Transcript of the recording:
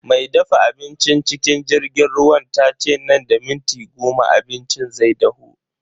Me dafa abincin cikin jirgin ruwan tace nan da minti goma abincin zai dahu.